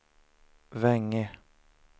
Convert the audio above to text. Vänge